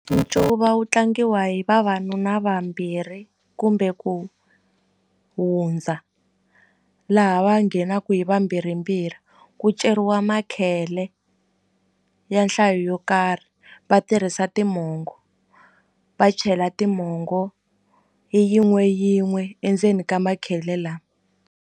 Ncuva wu tlangiwa hi vavanuna vambirhi kumbe ku hundza laha va nghenaku hi vambirhimbirhi ku ceriwa makhele ya nhlayo yo karhi va tirhisa timongo va chela timongo hi yin'we yin'we endzeni ka makhele .